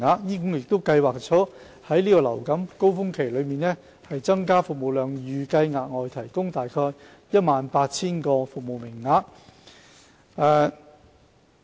醫管局亦計劃在流感高峰期增加服務量，預計額外提供約 18,000 個服務名額。